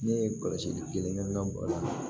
Ne ye kɔlɔsi kelen baga la